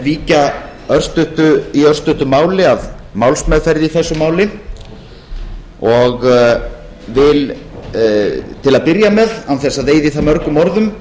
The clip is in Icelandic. víkja í örstuttu máli að málsmeðferð í þessu máli og vil til að byrja með án þess að eyða í það mörgum orðum